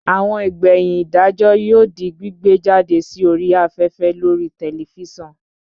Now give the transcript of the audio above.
Àwọn ìgbẹ̀yìn ìdájọ́ yóò di gbígbé jáde sí orí afẹ́fẹ́ lórii tẹlifísàn